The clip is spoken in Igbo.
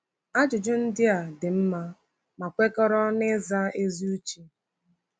Ajụjụ ndị a dị mma ma kwekọrọ n’ịza ezi uche.